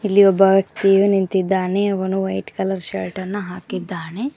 ಇಲ್ಲಿ ಒಬ್ಬ ವ್ಯಕ್ತಿ ಇದ್ದಾನೆ ಅವನು ವೈಟ್ ಕಲರ್ ಶರ್ಟ್ ಹಾಕಿದ್ದಾನೆ.